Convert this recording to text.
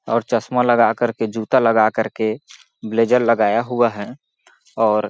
और चश्मा लगा कर के जूता लगा कर के ब्लेजर लगाया हुआ है और--